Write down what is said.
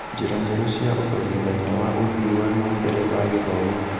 njĩra njerũ cia ũthomithania na ũthii wa na mbere wa gĩthomo.